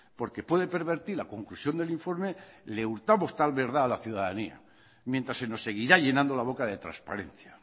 porque puede pervertir la conclusión del informe le hurtamos tal verdad a la ciudadanía mientras se nos seguirá llenando la boca de transparencia